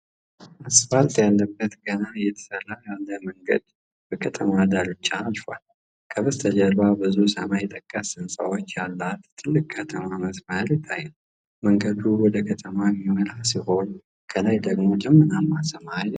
አስፋልት ያለበት ገና እየተሰራ ያለ መንገድ በከተማ ዳርቻ አልፏል። ከበስተጀርባ ብዙ ሰማይ ጠቀስ ህንጻዎች ያላት ትልቅ የከተማ መስመር ይታያል። መንገዱ ወደ ከተማዋ የሚመራ ሲሆን፣ ከላይ ደግሞ ደመናማ ሰማይ አለ።